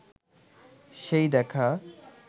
সেই দেখা